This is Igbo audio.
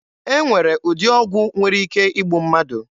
E nwere ụdị ọgwụ nwere ike igbu mmadụ.